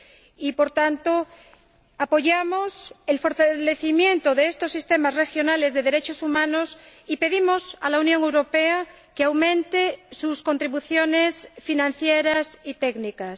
Y, por tanto, apoyamos el fortalecimiento de estos sistemas regionales de derechos humanos y pedimos a la Unión Europea que aumente sus contribuciones financieras y técnicas.